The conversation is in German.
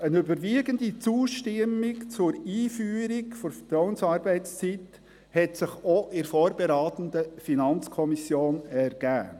Eine überwiegende Zustimmung zur Einführung der Vertrauensarbeitszeit hat sich auch in der vorberatenden FiKo ergeben.